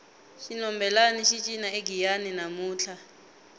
xinhombelani xi cina egiyani namuntlha